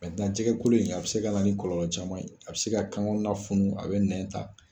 jɛgɛkolo in, a bɛ se ka na ni kɔlɔlɔ caman ye, a bɛ se ka kan kɔnɔna funu a bɛ nɛn ta.